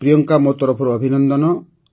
ପ୍ରିୟଙ୍କା ମୋ ତରଫରୁ ଅଭିନନ୍ଦନ